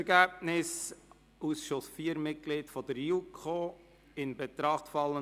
Hans-Peter Kohler mit 140 Stimmen